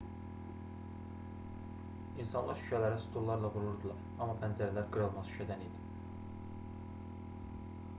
i̇nsanlar şüşələrə stullarla vururdular amma pəncərələr qırılmaz şüşədən idi